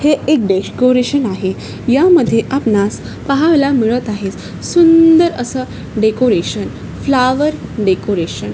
हे एक डेकोरेशन आहे यामध्ये आपणास पाहायला मिळत आहे सुंदर असं डेकोरेशन फ्लॉवर डेकोरेशन .